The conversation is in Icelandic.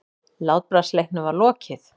Látbragðsleiknum var lokið.